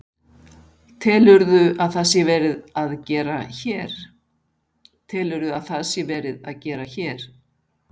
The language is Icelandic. Telurðu að það sé verið að gera hér?